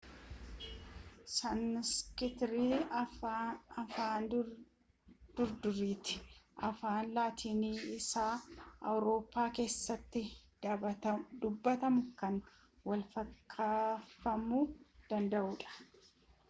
saanskiriit afaan durduriiti afaan laatiinii isaawurooppaa keessatti dubbatamuun kan walfakkeeffamuu danda'udha